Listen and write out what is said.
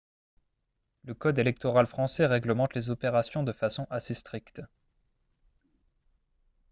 le code électoral français réglemente les opérations de façon assez stricte